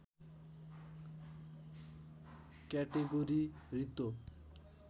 category रित्तो